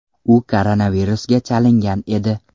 U koronavirusga chalingan edi.